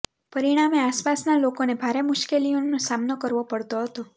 પરિણાને આસપાસના લોકોને ભારે મુશ્કેલીઓનો સામનો કરવો પડતો હતો